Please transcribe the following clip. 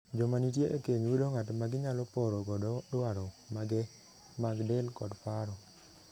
Joma nitie e keny yudo ng'at ma ginyalo poro godo dwaro mage mag del kod paro.